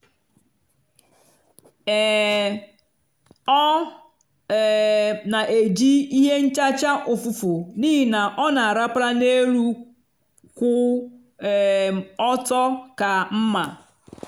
um ọ um na-eji ihe nchacha ụfụfụ n'ihi na ọ na-arapara n'elu kwụ um ọtọ ka mma.